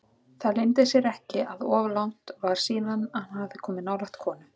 Það leyndi sér ekki að of langt var síðan hann hafði komið nálægt konu.